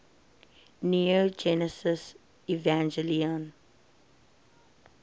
neon genesis evangelion